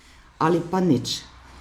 Ali pa nič.